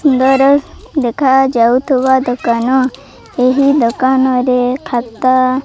ସୁନ୍ଦର ଦେଖାଯାଉଥୁବା ଦୋକାନ ଏହି ଦୋକାନରେ ଖାତା।